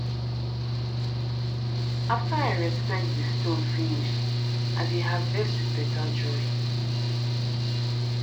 after i respect di stone finish i dey harvest with better joy